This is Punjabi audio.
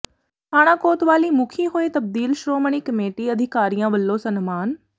ਥਾਣਾ ਕੋਤਵਾਲੀ ਮੁਖੀ ਹੋਏ ਤਬਦੀਲ ਸ਼੍ਰੋਮਣੀ ਕਮੇਟੀ ਅਧਿਕਾਰੀਆਂ ਵੱਲੋਂ ਸਨਮਾਨ